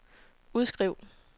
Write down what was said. udskriv